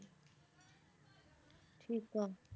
ਠੀਕ ਆ